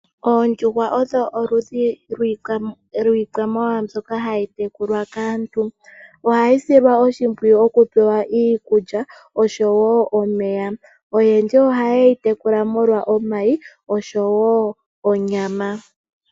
Oondjuhwa odho oludhi lwiikwamawawa mbyoka hayi tekulwa kaantu ohayi silwa oshimpwiyu okupewa iikulya oshowo omeya, oyendji oha ye yi tekula molwa omayi oshowo onyama.